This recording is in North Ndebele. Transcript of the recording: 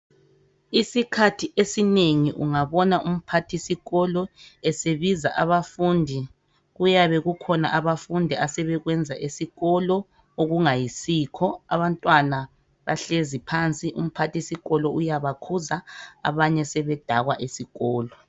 Isikhathi esinengi ungabona umphathisikolo esebiza abafundi kuyabe kukhona abafundi asebekwenza esikolo okungayisikho. Abantwana bahlezi phansi, umphathisikolo uyabakhuza abanye sebedakwa esikolo.